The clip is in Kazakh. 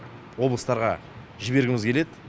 облыстарға жібергіміз келеді